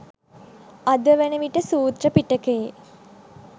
අද වන විට සූත්‍ර පිටකයේ